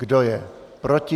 Kdo je proti?